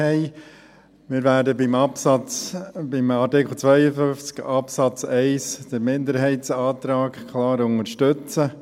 Wir werden bei Artikel 52 Absatz 1 den Minderheitsantrag klar unterstützen.